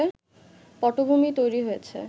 পটভুমি তৈরি হয়েছে